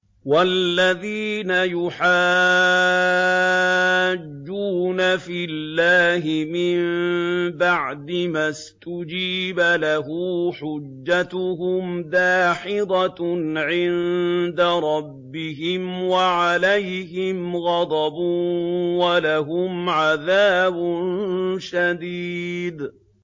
وَالَّذِينَ يُحَاجُّونَ فِي اللَّهِ مِن بَعْدِ مَا اسْتُجِيبَ لَهُ حُجَّتُهُمْ دَاحِضَةٌ عِندَ رَبِّهِمْ وَعَلَيْهِمْ غَضَبٌ وَلَهُمْ عَذَابٌ شَدِيدٌ